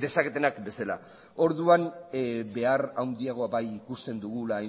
dezaketenak bezala orduan behar handiagoa bai ikusten dugula